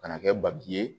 Ka na kɛ ye